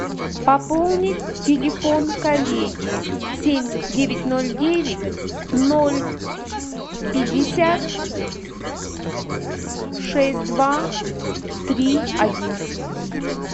пополнить телефон коллеги семь девять ноль девять ноль пятьдесят шесть два три один